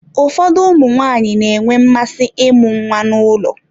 Ụfọdụ ụmụ nwaanyị na-enwe mmasị ịmụ nwa n'ụlọ.